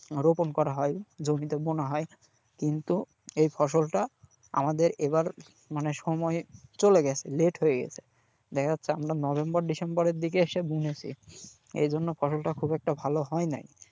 রোপণ করা হয় জমিতে বোনা হয় কিন্তু এই ফসলটা আমাদের এবার মানে সময় চলে গেছে late হয়ে গেছে, দেখা যাচ্ছে আমরা নভেম্বর ডিসেম্বরের দিকে এসে বুনেছি, এই জন্য ফসলটা খুব একটা ভালো হয়নাই।